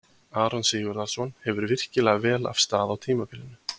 Aron Sigurðarson hefur virkilega vel af stað á tímabilinu.